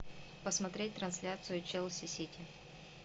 посмотреть трансляцию челси сити